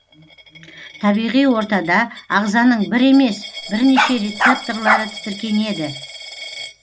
табиғи ортада ағзаның бір емес бірнеше рецептарлары тітіркенеді